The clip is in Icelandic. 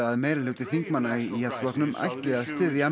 að meirihluti þingmanna í Íhaldsflokknum ætli að styðja